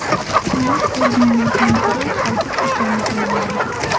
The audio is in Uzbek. Halok bo‘lganlardan biri zobit ekanligi ma’lum.